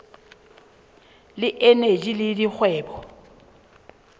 le eneji le la dikgwebo